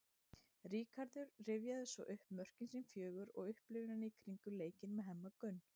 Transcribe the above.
Ríkharður rifjaði svo upp mörkin sín fjögur og upplifunina í kringum leikinn með Hemma Gunn.